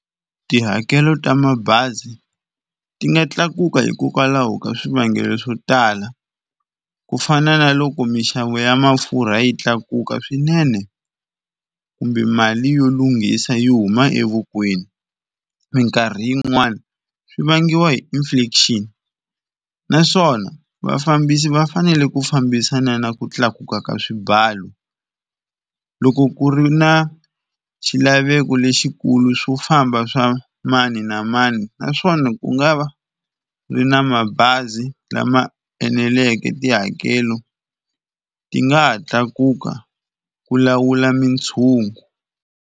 Tihakelo ta mabazi ti nga tlakuka hikokwalaho ka swivangelo swo tala kufana na loko minxavo ya mafurha yi tlakuka swinene, kumbe mali yo lunghisa yi huma evokweni minkarhi yin'wani swi vangiwa hi inflation naswona vafambisi va fanele ku fambisana na ku tlakuka ka swimbalo. Loko ku ri na xilaveko lexikulu swo famba swa mani na mani naswona ku nga va ri na mabazi lama eneleke tihakelo ti nga ha tlakuka ku lawula mitshungu.